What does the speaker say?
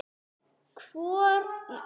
Hvor er nú betri?